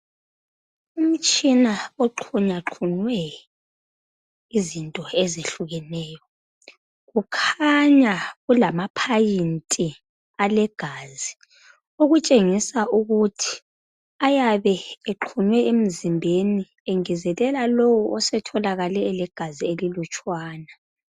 Imtshina exhinyaxhunywe izinto ezehlukeneyo. Kukhanya kulamaphayinti alegazi okutshengisa ukuthi ayabe exhunywe emzimbeni engezelela lowo osetholakale elegazi elilutshwana.